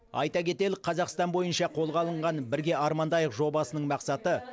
айта кетелік қазақстан бойынша қолға алынған бірге армандайық жобасының мақсаты